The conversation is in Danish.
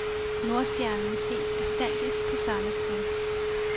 Nordstjernen ses bestandig på samme sted.